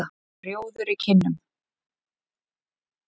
Rjóður í kinnum.